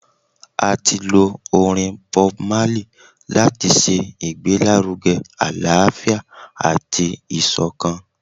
A ti lo orin BobMarley lati ṣe igbelaruge alaafia ati isokan.